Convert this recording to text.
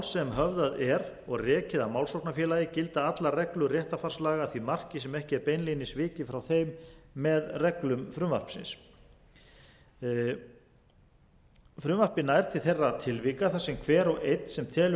sem höfðað er og rekið af málsóknarfélagi gilda allrar reglur réttarfarslaga því marki sem ekki er beinlínis vikið frá þeim með reglum frumvarpsins frumvarpið nær til þeirra tilvika þar sem hver og einn sem telur